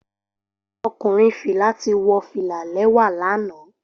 Okunrin fila ti wo fila lẹwa lana